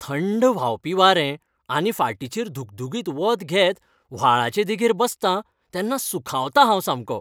थंड व्हांवपी वारें आनी फाटीचेर धुगधुगीत वत घेत व्हाळाचे देगेर बसतां तेन्ना सुखावतां हांव सामको.